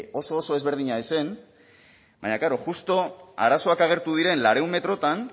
hori oso oso ezberdina ez zen baina klaro justu arazoak agertu diren laurehun metrotan